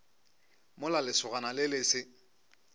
mola lesogana le le se